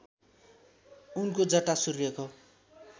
उनको जटा सूर्यको